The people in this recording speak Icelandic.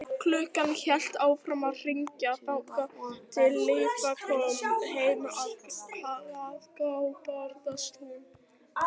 Klukkan hélt áfram að hringja þar til líkfylgdin kom heim á hlað, þá brast hún.